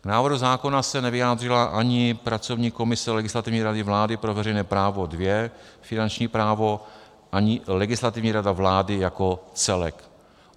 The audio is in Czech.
K návrhu zákona se nevyjádřila ani pracovní komise Legislativní rady vlády pro veřejné právo II - finanční právo, ani Legislativní rada vlády jako celek.